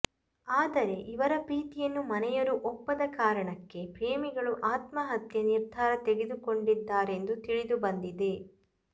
ಆದರೆ ಇವರ ಪ್ರೀತಿಯನ್ನು ಮನೆಯವರು ಒಪ್ಪದ ಕಾರಣಕ್ಕೆ ಪ್ರೇಮಿಗಳು ಆತ್ಮಹತ್ಯೆ ನಿರ್ಧಾರ ತೆಗೆದುಕೊಂಡಿದ್ದಾರೆಂದು ತಿಳಿದು ಬಂದಿದೆ